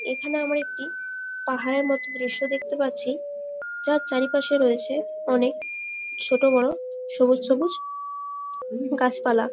এখানে আমরা একটি পাহাড়ের মতো দৃশ্য দেখতে পারছি যার চারিপাশে রয়েছে অনেক ছোট বড়ো সবুজ সবুজ গাছ পালা ।